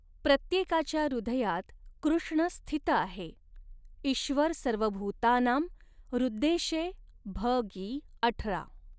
प्रत्येकाच्या हृदयात कृष्ण स्थित आहे ईश्वरसर्वभूतानां हृद्देशे भ गी अठरा।